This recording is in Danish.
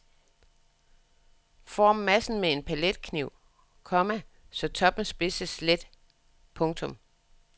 Form massen med en paletkniv, komma så toppen spidses let. punktum